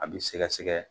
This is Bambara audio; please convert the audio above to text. A bi sɛgɛsɛgɛ